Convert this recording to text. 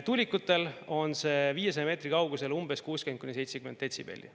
Tuulikutel on see 500 meetri kaugusel 60–70 detsibelli.